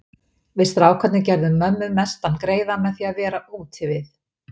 Við strákarnir gerðum mömmu mestan greiða með því að vera úti við.